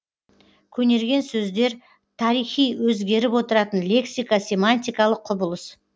көнерген сөздер тарихи өзгеріп отыратын лексика семантикалық құбылыс